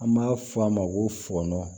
An b'a fɔ a ma ko fɔnɔn